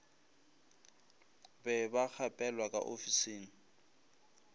be ba gapelwa ka ofising